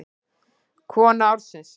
Kona ársins?